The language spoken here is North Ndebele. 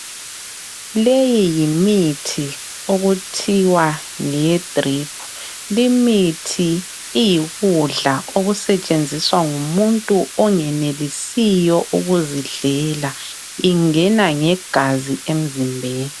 Leyi yimithi okuthiwa ngeye drip limithi iyikudla okusetsenziswa ngumuntu ongenelisiyo ukuzidlela ingena ngegazi emzimbeni.